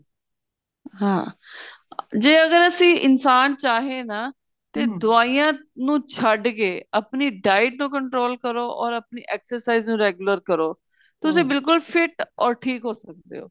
ਹਾਂ ਜੇ ਅਗਰ ਅਸੀਂ ਇਨਸਾਨ ਚਾਹੇ ਨਾ ਦਵਾਈਆਂ ਨੂੰ ਛੱਡ ਕੇ ਆਪਣੀ diet ਨੂੰ control ਕਰੋ or ਆਪਣੀ exercise ਨੂੰ regular ਕਰੋ ਬਿਲਕੁਲ fit or ਠੀਕ ਹੋ ਸਕਦੇ ਓ